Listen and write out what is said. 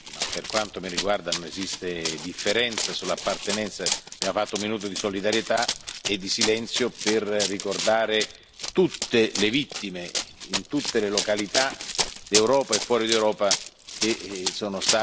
Per quanto mi riguarda non esiste differenza sull'appartenenza Abbiamo osservato un minuto di silenzio per ricordare tutte le vittime, in tutte le località d'Europa e fuori dell'Europa, che sono